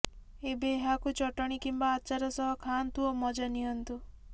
ଏବେ ଏହାକୁ ଚଟଣି କିମ୍ବା ଆଚାର ସହ ଖାଆନ୍ତୁ ଓ ମଜା ନିଅନ୍ତୁ